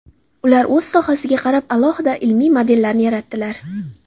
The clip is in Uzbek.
Ular o‘z sohasiga qarab alohida ilmiy modellarni yaratdilar.